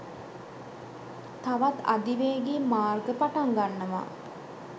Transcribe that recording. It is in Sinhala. තවත් අධිවේගී මාර්ග පටන් ගන්නවා.